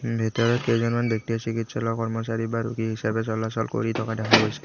ভিতৰত কেইজনমান ব্যক্তিয়ে চিকিৎসলৰ কৰ্মচাৰী হিচাপে চলাচল কৰি থকা দেখা গৈছে।